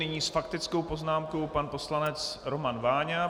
Nyní s faktickou poznámkou pan poslanec Roman Váňa.